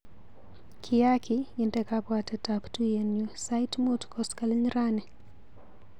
Kiaki inde kabwatetap tuiyenyu sait mut koskoliny rani.